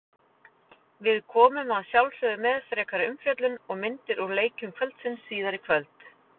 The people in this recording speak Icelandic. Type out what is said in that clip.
Við komum að sjálfsögðu með frekari umfjöllun og myndir úr leikjum kvöldsins síðar í kvöld.